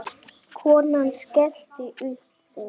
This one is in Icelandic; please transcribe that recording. Konan skellti upp úr.